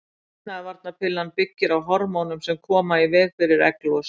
Getnaðarvarnarpillan byggir á hormónum sem koma í veg fyrir egglos.